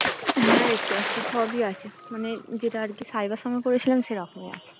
হ্যাঁ দেখতে পারছি সবি আছে মানে যেটা আর কি সাইবার সঙ্গে করেছিলাম সেরকম